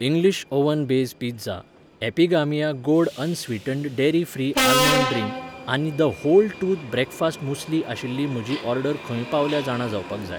English oven base pizza, Epigamia गोड unsweetened dairy free almond drink आनी the whole truth breakfast muesli आशिल्ली म्हजी order खंय पावल्या जाणा जावपाक जाय